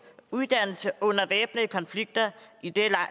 uddannelse under væbnede konflikter i den